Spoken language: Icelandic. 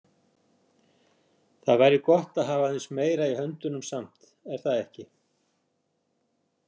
Það væri gott að hafa aðeins meira í höndunum samt, er það ekki?